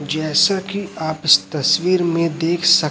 जैसे कि आप इस तस्वीर में देख सक--